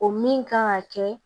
O min kan ka kɛ